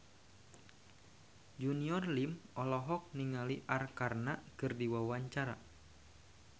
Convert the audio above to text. Junior Liem olohok ningali Arkarna keur diwawancara